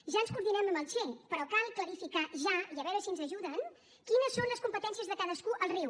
ja ens coordinem amb la che però cal clarificar ja i a veure si ens ajuden quines són les competències de cadascú al riu